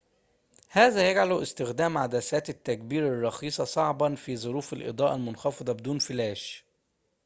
هذا يجعلُ استخدامَ عدساتِ التّكبيرِ الرخيصةِ صعبًا في ظروفِ الإضاءةِ المنخفضةِ بدون فلاش